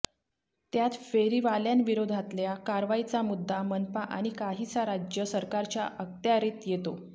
त्यात फेरीवाल्यांविरोधातल्या कारवाईचा मुद्दा मनपा आणि काहीसा राज्य सरकारच्या अखत्यारीत येतो